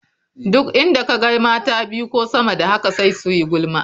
Duk inda ka ga mata biyu ko sama da haka sai su yi gulma.